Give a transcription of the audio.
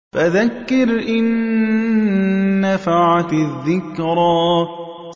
فَذَكِّرْ إِن نَّفَعَتِ الذِّكْرَىٰ